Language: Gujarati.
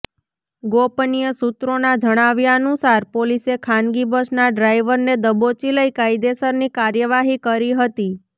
ગોપનીય સૂત્રોના જણાવ્યાનુસાર પોલીસે ખાનગીબસના ડ્રાઈવરને દબોચી લઈ કાયદેસરની કાર્યવાહી કરી હતી